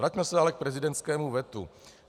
Vraťme se ale k prezidentskému vetu.